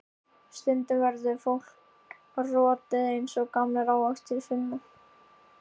Stundum verður fólk rotið eins og gamlir ávextir, Sunna.